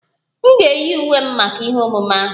M ga-eyi uwe m maka ihe omume ahụ